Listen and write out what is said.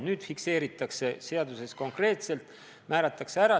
Nüüd fikseeritakse asi seaduses konkreetselt, määratakse ära.